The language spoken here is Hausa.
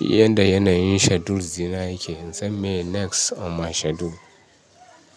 yadda yanayin schedules dina yake. In san miye next on my schedule.